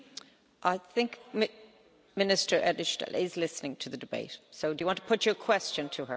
I think Minister Edtstadler is listening to the debate so do you want to put your question to her?